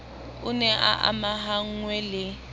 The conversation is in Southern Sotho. o ne a amahanngwe le